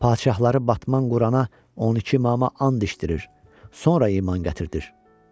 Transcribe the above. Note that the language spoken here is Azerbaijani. Padşahları Batman Qurana 12 imama and içdirir, sonra iman gətirdir,